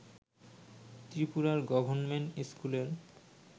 ত্রিপুরার গর্ভর্ণমেণ্ট স্কুলের